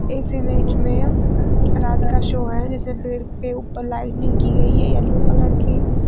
इस इमेज में रात का शो है जिसे पेड़ के ऊपर लाइटिंग की गई है येलो कलर की।